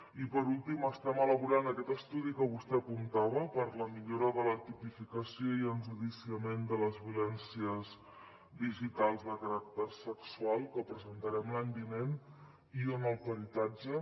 i per últim estem elaborant aquest estudi que vostè apuntava per a la millora de la tipificació i enjudiciament de les violències digitals de caràcter sexual que presentarem l’any vinent i on el peritatge